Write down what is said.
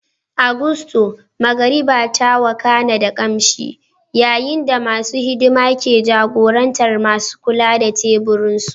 A Gusto, magariba ta wakana da kamshin, yayin da masu hidima ke jagorantar masu kula da teburinsu.